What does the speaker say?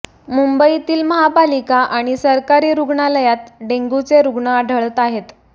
मुंबईतील महपालिका आणि सरकारी रूग्णालयात डेंग्यूचे रूग्ण आढळत आहेत